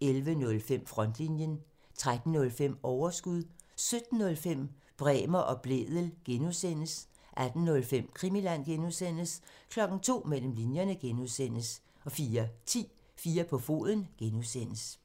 (tir) 11:05: Frontlinjen 13:05: Overskud 17:05: Bremer og Blædel (G) (tir) 18:05: Krimiland (G) (tir) 02:00: Mellem linjerne (G) (tir) 04:10: 4 på foden (G) (tir)